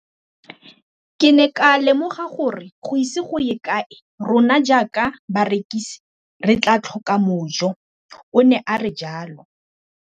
Ke ne ka lemoga gore go ise go ye kae rona jaaka barekise re tla tlhoka mojo, o ne a re jalo.